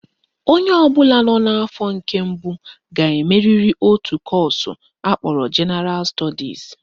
Onye ọbụla nọ n'afọ nke mbụ ga-emeriri otu kọọsụ akpọrọ Jenaral Stọdis